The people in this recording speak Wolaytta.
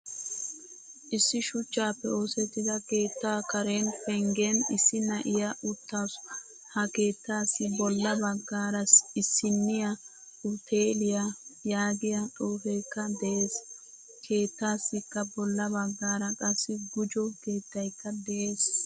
Issi shuchchappe oosettida keettaa karen penggen issi na; iyaa uttasu. Ha keettasi bolla baggaara isiiniyaa uteliyaa yaagiyaa xuufekka de'ees. Keettaasikka bolla baggaara qassi gujjo keettaykka de'ees.